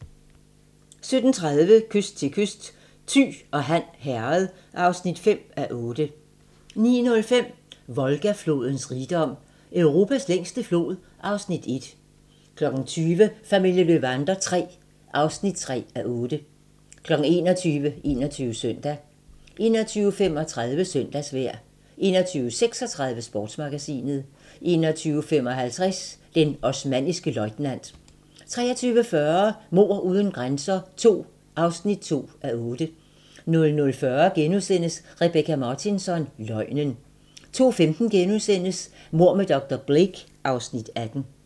17:30: Kyst til kyst: Thy og Han Herred (5:8) 19:05: Volga-flodens rigdom: Europas længste flod (Afs. 1) 20:00: Familien Löwander III (3:8) 21:00: 21 Søndag 21:35: Søndagsvejr 21:36: Sportsmagasinet 21:55: Den osmanniske løjtnant 23:40: Mord uden grænser II (2:8) 00:40: Rebecka Martinsson: Løgnen * 02:15: Mord med dr. Blake (Afs. 18)*